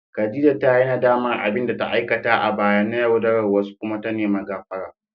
Khadija ta yi nadamar abin da ta aikata a baya na yaudarar wasu kuma ta nemi gafara.